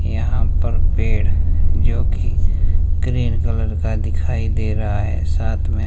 यहां पर पेड़ जो कि ग्रीन कलर का दिखाई दे रहा है साथ में--